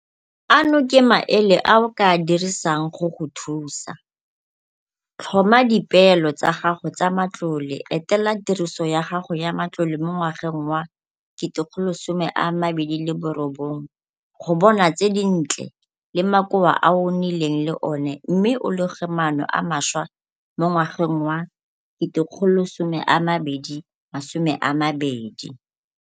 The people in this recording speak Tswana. Ano ke maele a o ka a dirisang go go thusa - Tlhoma dipeelo tsa gago tsa matlole etela tiriso ya gago ya matlole mo ngwageng wa 2019 go bona tse dintle le makoa a o nnileng le ona mme o loge maano a mašwa mo ngwageng wa 2020.